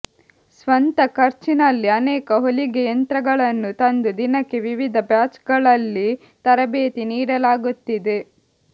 ಸ್ವಂತ ಖರ್ಚಿನಲ್ಲಿ ಅನೇಕ ಹೊಲಿಗೆ ಯಂತ್ರಗಳನ್ನು ತಂದು ದಿನಕ್ಕೆ ವಿವಿಧ ಬ್ಯಾಚ್ಗಳಲ್ಲಿ ತರಬೇತಿ ನೀಡಲಾಗುತ್ತಿದೆ